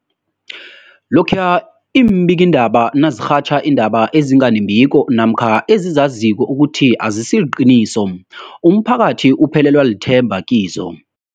Lokhuya iimbikiindaba nazirhatjha iindaba ezinga nembiko namkha ezizaziko ukuthi azisiliqiniso, umphakathi uphelelwa lithemba kizo.